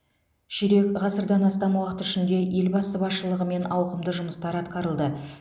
ширек ғасырдан астам уақыт ішінде елбасы басшылығымен ауқымды жұмыстар атқарылды